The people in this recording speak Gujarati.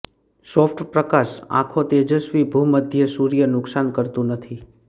સોફ્ટ પ્રકાશ આંખો તેજસ્વી ભૂમધ્ય સૂર્ય નુકસાન કરતું નથી